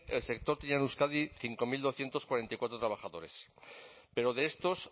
el sector tenía en euskadi cinco mil doscientos cuarenta y cuatro trabajadores pero de estos